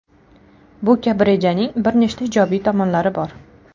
Bu kabi rejaning bir nechta ijobiy tomonlari bor.